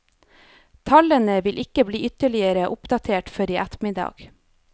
Tallene vil ikke bli ytterligere oppdatert før i ettermiddag.